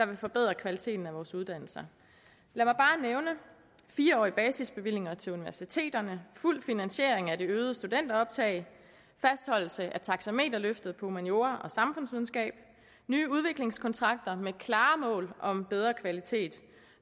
vil forbedre kvaliteten af vores uddannelser lad mig bare nævne fire årige basisbevillinger til universiteterne fuld finansiering af det øgede studenteroptag fastholdelse af taxameterløftet på humaniora og samfundsvidenskab nye udviklingskontrakter med klare mål om bedre kvalitet